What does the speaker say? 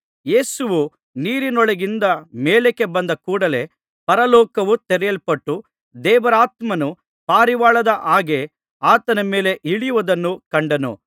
ಯೇಸುವು ನೀರಿನೊಳಗಿನಿಂದ ಮೇಲಕ್ಕೆ ಬಂದ ಕೂಡಲೇ ಪರಲೋಕವು ತೆರೆಯಲ್ಪಟ್ಟು ದೇವರಾತ್ಮನು ಪಾರಿವಾಳದ ಹಾಗೆ ಆತನ ಮೇಲೆ ಇಳಿಯುವುದನ್ನು ಕಂಡನು